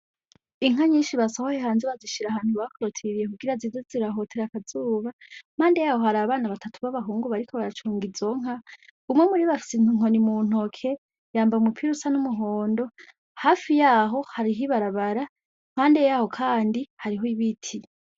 Inka nyinshi basohoye hanze bazishira ahantu bazitiye kugira zize zirahotera akazuba impande yaho hari abana batatu b'abahungu bariko baracunga izo nka umwe muribo afise inkoni mu ntoke yambaye umupira usa n'umuhondo hafi yaho hariho ibarabara iruhande yaho kandi hariho ibiti.